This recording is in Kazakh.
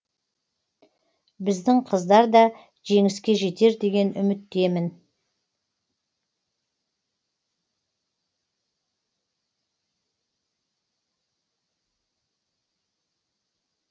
біздің қыздар да жеңіске жетер деген үміттемін